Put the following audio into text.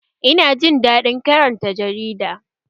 Ina jin daɗin karanta jarida